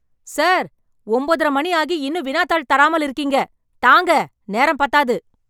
Sir ! ஒன்பதரை மணி ஆகி இன்னும் வினாத்தாள் தராமல் இருக்கீங்க ? தாங்க , நேரம் பத்தாது.